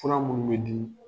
Fur minnu bɛ di